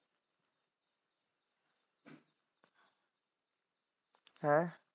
ਹੈ।